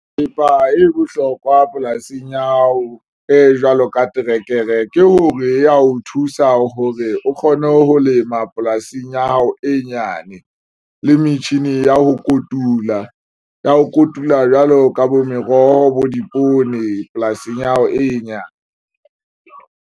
Thepa e bohlokwa polasing ya hao e jwalo ka trekere, ke hore ya ho thusa hore o kgone ho lema polasing ya hao e nyane le metjhini ya ho kotula ya ho kotula jwalo ka bo meroho bo dipoone polasing ya hao e nyane.